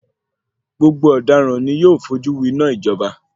Gbogbo ọdaràn ni yóò fojú wináa ìjọba.